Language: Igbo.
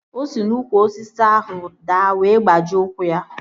O si n'úkwù osisi ahụ daa wee gbajie ụkwụ ya